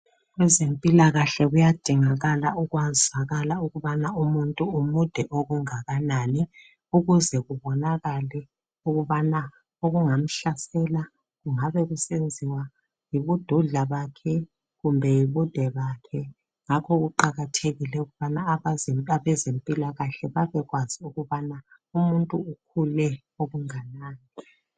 Kwezempilakahle kuyadingakala ukwazakala ukubana umuntu umude okungakanani ukuze kubonakale ukubana okungamhlasela kungabe kusenziwa yibududla bakhe yibude bakhe ngakho kuqakathekile ukubana abezempilakahle babekwazi ukubana umuntu ukhule okunganani.